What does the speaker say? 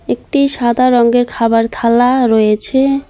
একটি সাদা রঙ্গের খাবার থালা রয়েছে।